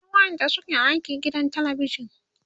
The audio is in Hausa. akwai waƴanda suke aiki gidan telebijan